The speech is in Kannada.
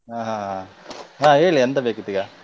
ಹಾ ಹಾ ಹೇಳಿ ಎಂತ ಬೇಕಿತ್ತೀಗ?